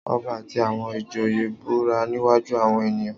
Ọba àti àwọn ìjòyè búra níwájú àwọn ènìyàn